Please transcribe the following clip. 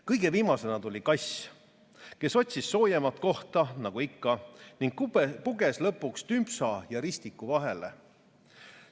Kõige viimasena tuli kass, kes otsis soojemat kohta nagu ikka ning puges lõpuks Tümpsa ja Ristiku vahele.